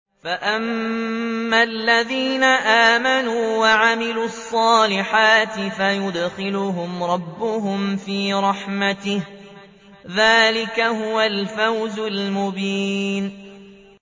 فَأَمَّا الَّذِينَ آمَنُوا وَعَمِلُوا الصَّالِحَاتِ فَيُدْخِلُهُمْ رَبُّهُمْ فِي رَحْمَتِهِ ۚ ذَٰلِكَ هُوَ الْفَوْزُ الْمُبِينُ